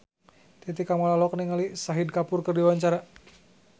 Titi Kamal olohok ningali Shahid Kapoor keur diwawancara